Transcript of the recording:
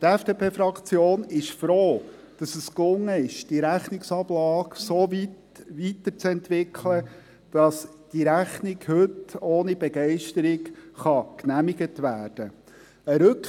Die FDP-Fraktion ist froh, dass es gelungen ist, diese Rechnungsablage so weiterzuentwickeln, dass die Rechnung heute ohne Begeisterung genehmigt werden kann.